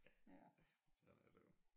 Ja men sådan er der jo